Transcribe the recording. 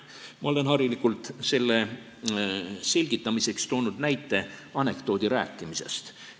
Ma olen harilikult selle selgitamiseks toonud näite anekdoodi rääkimise kohta.